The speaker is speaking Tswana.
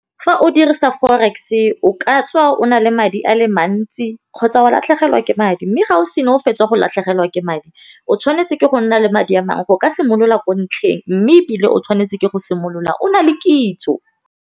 Fa o dirisa forex-e o ka tswa o na le madi a le mantsi kgotsa wa latlhegelwa ke madi mme ga o sena o fetsa go latlhegelwa ke madi, o tshwanetse ke go nna le madi a mangwe go ka simolola ko ntlheng mme ebile o tshwanetse ke go simolola o na le kitso.